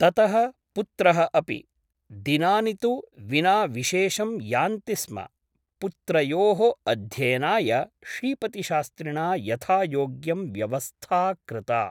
ततः पुत्रः अपि । दिनानि तु विना विशेषं यान्ति स्म । पुत्रयोः अध्ययनाय श्रीपतिशास्त्रिणा यथायोग्यं व्यवस्था कृता ।